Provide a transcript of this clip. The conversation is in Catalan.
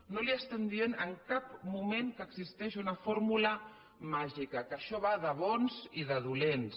no li estem dient en cap moment que existeix una fórmula màgica que això va de bons i de dolents